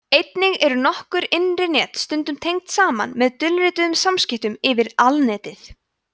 einnig eru nokkur innri net stundum tengd saman með dulrituðum samskiptum yfir alnetið